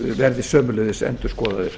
verði sömuleiðis endurskoðaðir